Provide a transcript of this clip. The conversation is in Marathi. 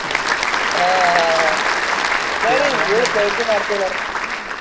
हा हा हा हा, नाई नाई थोड senti मारते नारे